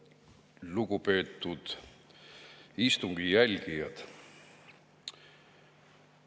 Lugupeetud istungi jälgijad!